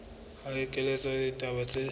ho kenyelletswa le ditaba tse